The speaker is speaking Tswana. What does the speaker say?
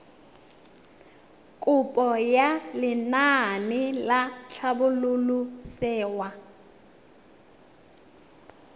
kopo ya lenaane la tlhabololosewa